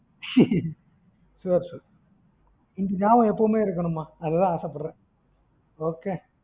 sure sure இந்த நியாபகம் எப்பவுமே இருக்கணுமா அதுக்கு தான் ஆசை படுறன் okay